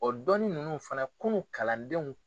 O dɔni ninnu fana kunun kalandenw